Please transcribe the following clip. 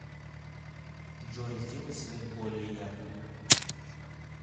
джой сделай свет более ярким